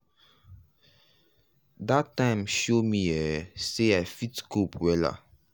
that time show me um sey i fit cope wella.